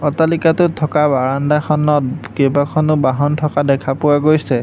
অট্টালিকাটোত থকা বাৰান্দাখনত কেবাখনো বাহন থকা দেখা পোৱা গৈছে।